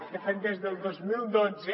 de fet des del dos mil dotze